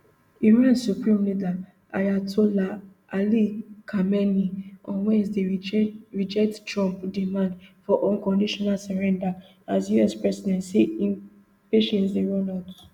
iran supreme leader ayatollah ali khamenei on wednesday reject trump demand for unconditional surrender as us president say im patience dey run out